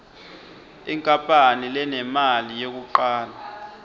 inkapani lenemali yekucala